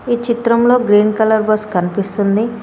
ఈ చిత్రంలో green colour bus కన్పిస్తుంది.